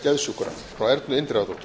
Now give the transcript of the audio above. geðsjúkra frá ernu indriðadóttur